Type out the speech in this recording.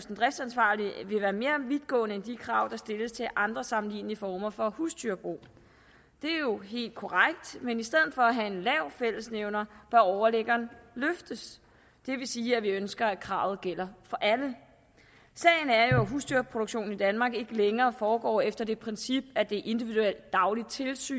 den driftsansvarlige vil være mere vidtgående end de krav der stilles til andre sammenlignelige former for husdyrbrug det er jo helt korrekt men i stedet for at have en lav fællesnævner bør overliggeren løftes det vil sige at vi ønsker at kravet gælder for alle sagen er jo at husdyrproduktionen i danmark ikke længere foregår efter det princip at der er et individuelt dagligt tilsyn